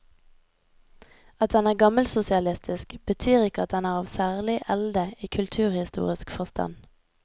At den er gammelsosialistisk, betyr ikke at den er av særlig elde i kulturhistorisk forstand.